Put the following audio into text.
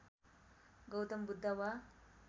गौतम बुद्ध वा